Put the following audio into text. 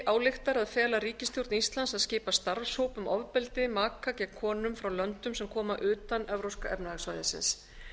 ályktar að fela ríkisstjórn íslands að skipa starfshóp um ofbeldi maka gegn konum frá löndum sem koma utan evrópska efnahagssvæðisins